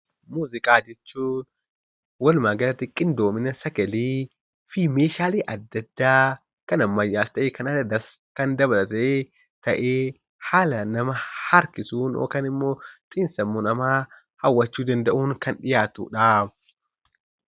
Muuziqaa jechuun walumaa galatti qindoomina sagalee fi meeshaalee adda addaa kan ammayyaas ta'e kan aadaa dabalatee ta'ee kan haalaan nama harkisuun yookaan immoo xiinsammuu namaa hawwachuu danda'uun kan dhiyaatu dhaam.